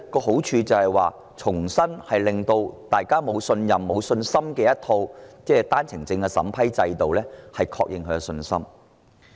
好處在於讓大家對一套市民不信任、沒信心的單程證審批制度重拾信心。